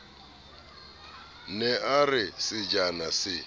ne a re sejana se